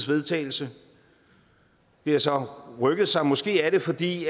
vedtagelse det har så rykket sig og måske er det fordi